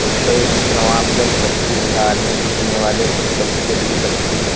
उसपे नवाबगंज पक्षी विहार में दिखने वाले कुछ जलीय पक्षी--